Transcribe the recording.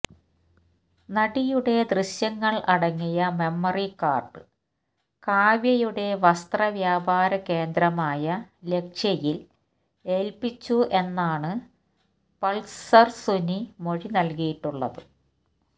നടിയുടെ ദൃശ്യങ്ങള് അടങ്ങിയ മെമ്മറി കാര്ഡ് കാവ്യയുടെ വസ്ത്രവ്യാപാര കേന്ദ്രമായ ലക്ഷ്യയില് ഏല്പിച്ചു എന്നാണ് പള്സര് സുനി മൊഴി നല്കിയിട്ടുള്ളത്